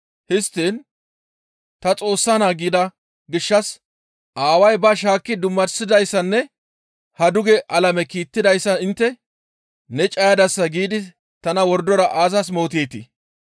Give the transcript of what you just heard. histtiin, ‹Ta Xoossa naa› gida gishshas Aaway ba shaakki dummasidayssanne haa duge alame kiittidayssa intte, ‹Ne cayadasa› giidi tana wordora aazas mooteetii?